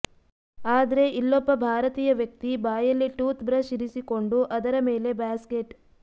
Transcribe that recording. ಆದ್ರೆ ಇಲ್ಲೊಬ್ಬ ಭಾರತೀಯ ವ್ಯಕ್ತಿ ಬಾಯಲ್ಲಿ ಟೂತ್ ಬ್ರಷ್ ಇರಿಸಿಕೊಂಡು ಅದರ ಮೇಲೆ ಬ್ಯಾಸ್ಕೆಟ್